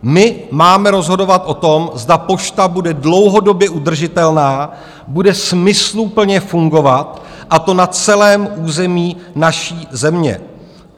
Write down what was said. My máme rozhodovat o tom, zda pošta bude dlouhodobě udržitelná, bude smysluplně fungovat, a to na celém území naší země.